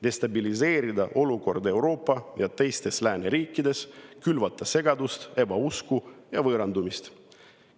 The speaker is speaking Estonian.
Destabiliseerida olukorda Euroopas ja teistes lääneriikides, külvata segadust, ebausku ja võõrandumist.